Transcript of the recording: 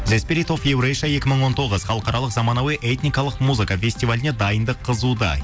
екі мың он тоғыз халықаралық замануи этникалық музыка фестиваліне дайындық қызуда